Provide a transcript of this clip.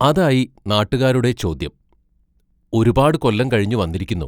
അതായി നാട്ടുകാരുടെ ചോദ്യം: ഒരുപാട് കൊല്ലം കഴിഞ്ഞു വന്നിരിക്കുന്നു.